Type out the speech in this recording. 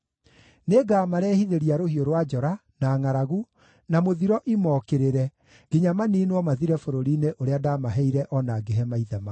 Nĩngamarehithĩria rũhiũ rwa njora, na ngʼaragu, na mũthiro imokĩrĩre, nginya maniinwo mathire bũrũri-inĩ ũrĩa ndaamaheire o na ngĩhe maithe mao.’ ”